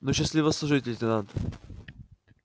ну счастливо служить лейтенант